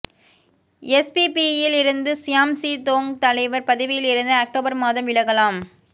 எஸ்பிபியிலிருந்து சியாம் சீ தோங் தலைவர் பதவியிலிருந்து அக்டோபர் மாதம் விலகலாம்